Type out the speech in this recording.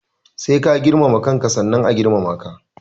Sai ka girmama kanka sannan a girmama ka.